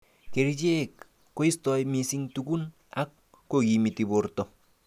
Kerichek koistoi missing tukun ak kokimit borto.